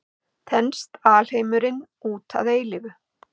Þenst alheimurinn út að eilífu?